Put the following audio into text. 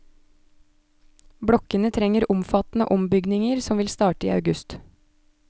Blokkene trenger omfattende ombygninger som vil starte i august.